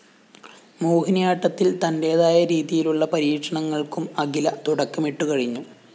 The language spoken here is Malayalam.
മോഹിനിയാട്ടത്തില്‍ തന്റേതായ രീതിയിലുള്ള പരീക്ഷണങ്ങള്‍ക്കും അഖില തുടക്കമിട്ടുകഴിഞ്ഞു